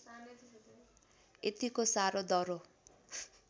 यतिको साह्रो दह्रो